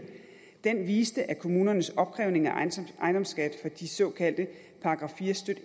den viste at kommunernes opkrævning af ejendomsskat fra de såkaldte §